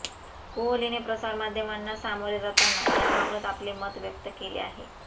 कोहलीने प्रसार माध्यमांना सामोरे जाताना याबाबत आपले मत व्यक्त केले आहे